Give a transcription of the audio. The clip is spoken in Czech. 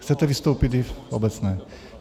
Chcete vystoupit i v obecné?